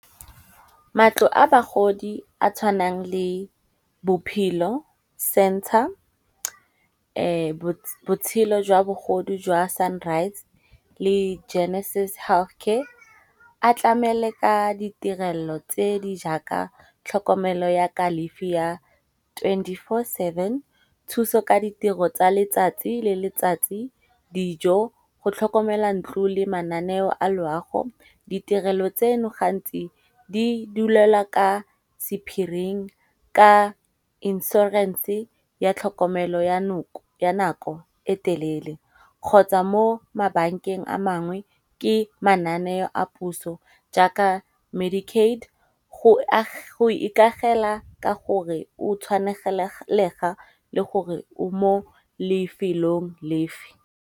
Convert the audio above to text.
Matlo a bagodi a tshwanang le bophelo centre, botshelo jwa bogodu jwa sunrise le genesis health care. A tlamele ka ditirelo tse di jaaka tlhokomelo ya kalefi ya twenty four seven, thuso ka ditiro tsa letsatsi le letsatsi, dijo go tlhokomela ntlo le mananeo a loago. Ditirelo tseno gantsi di dulelwa ka sephiring ka insurance ya tlhokomelo ya nako e telele. Kgotsa mo mabakeng a mangwe ke mananeo a puso jaaka Medic-Aid go ikagela ka gore o tshwanelegega le gore o mo lefelong lefe.